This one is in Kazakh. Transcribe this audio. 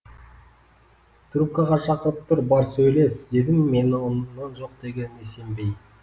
трубкаға шақырып тұр бар сөйлес дедім мен оны жоқ дегеніне сенбей